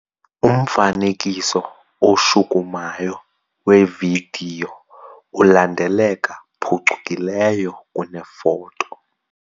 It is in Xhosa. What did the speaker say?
Umfanekiso oshukumayo wevidiyo ulandeleka phucukileyo kunefoto.